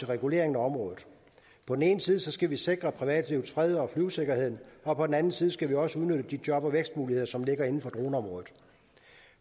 regulering af området på den ene side skal vi sikre privatlivets fred og flyvesikkerheden og på den anden side skal vi også udnytte de job og vækstmuligheder som ligger inden for droneområdet